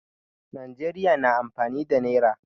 Najeriya na amfani da nayra